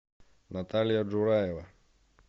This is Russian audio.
наталья джураева